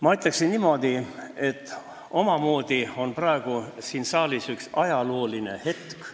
Ma ütleksin niimoodi, et omamoodi on siin saalis praegu üks ajalooline hetk.